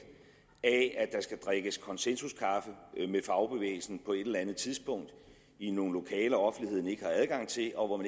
af at der skal drikkes konsensuskaffe med fagbevægelsen på et eller andet tidspunkt i nogle lokaler offentligheden ikke har adgang til og hvor